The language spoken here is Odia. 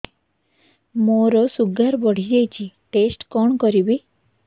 ମୋର ଶୁଗାର ବଢିଯାଇଛି ଟେଷ୍ଟ କଣ କରିବି